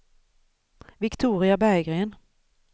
Viktoria Berggren